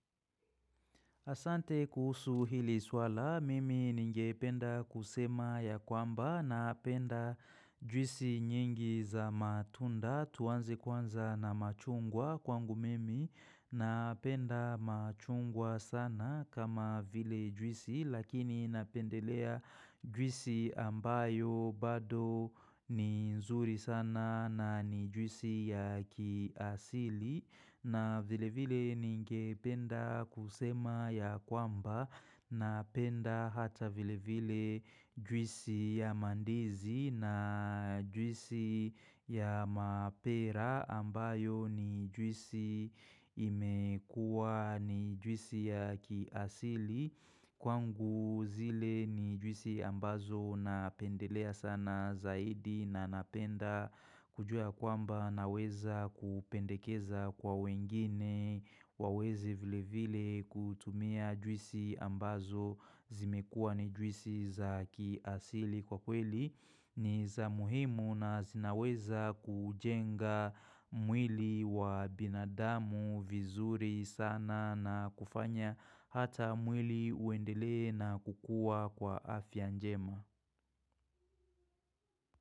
Asante kuhusu hili swala, mimi ninge penda kusema ya kwamba na penda juisi nyingi za matunda tuanze kwanza na machungwa kwangu mimi na penda machungwa sana kama vile juisi lakini napendelea juisi ambayo bado ni nzuri sana na ni juisi ya kiasili na vile vile ninge penda kusema ya kwamba na penda hata vile vile juisi ya mandizi na juisi ya mapera ambayo ni juisi imekuwa ni juisi ya kiasili. Kwangu zile ni juisi ambazo napendelea sana zaidi na napenda kujua ya kwamba naweza kupendekeza kwa wengine waweze vile vile kutumia juisi ambazo zimekua ni juisi za kiasili kwa kweli. Ni za muhimu na zinaweza kujenga mwili wa binadamu vizuri sana na kufanya hata mwili uendele na kukua kwa afya njema.